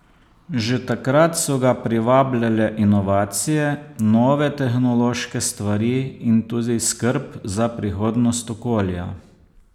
Že takrat so ga privabljale inovacije, nove tehnološke stvari in tudi skrb za prihodnost okolja.